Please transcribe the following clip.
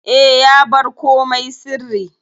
E, ya bar komai sirri.